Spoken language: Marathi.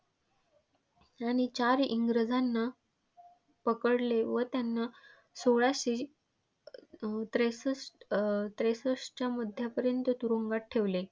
त्यांनी चार इंग्रजांना पकडले व त्यांना सोळाशे अं त्रेसत अं त्रेसष्टच्या मध्यापर्यंत तुरुंगात ठेवले.